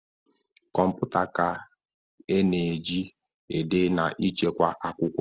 Kọmputa ka ị na eji -ede na ịchekwa akwụkwọ.